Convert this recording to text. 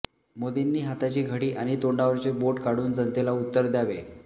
मोदींनी हाताची घडी आणि तोंडावरचे बोट काढून जनतेला उत्तर द्यावे